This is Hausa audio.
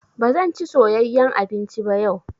Ba zan ci soyeyyan abinci ba yau.